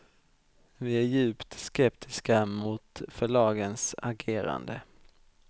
Vi är djupt skeptiska mot förlagens agerande.